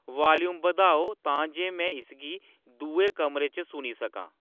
volume बधाओ तां जे में इसगी दुए कमरे च सुनी सकां